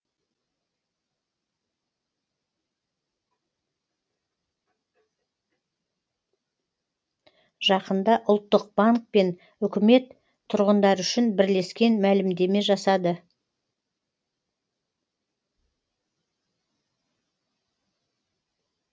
жақында ұлттық банк пен үкімет тұрғындар үшін бірлескен мәлімдеме жасады